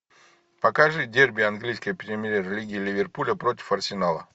покажи дерби английской премьер лиги ливерпуля против арсенала